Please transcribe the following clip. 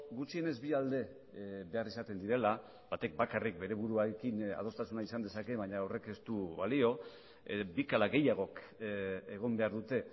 gutxienez bi alde behar izaten direla batek bakarrik bere buruarekin adostasuna izan dezake baina horrek ez du balio bik ala gehiagok egon behar dute